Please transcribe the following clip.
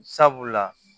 Sabula